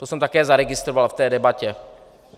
To jsem také zaregistroval v té debatě.